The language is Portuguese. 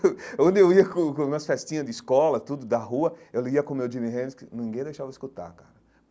onde eu ia com com nas festinhas de escola, tudo, da rua, eu ia com o meu Jimi Hendrix, ninguém deixava eu escutar, cara.